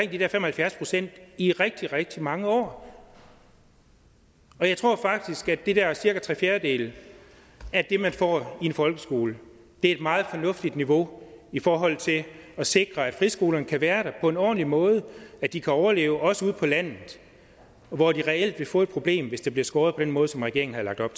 de der fem og halvfjerds procent i rigtig rigtig mange år jeg tror faktisk at de der cirka tre fjerdedele af det man får i en folkeskole er et meget fornuftigt niveau i forhold til at sikre at friskolerne kan være der på en ordentlig måde og at de kan overleve også ude på landet hvor de reelt vil få et problem hvis der bliver skåret ned på den måde som regeringen har lagt op